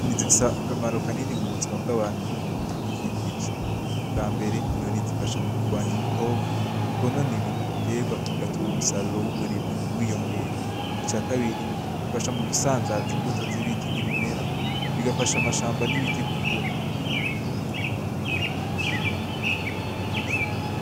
Inyoni zifise akamaro kanini mu buzima bw’abantu no mubidukikije , icambere Inyoni zifasha mu kugwanya udukoko twonona ibitegwa tugatuma umusaruro w’uburimyi wiyongera. Ica kabiri zifasha mugusanzaza imbuto z’ibiti n’ibimera ,bigafasha amashamba n’ibiti gukura.